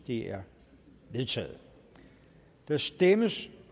det er vedtaget der stemmes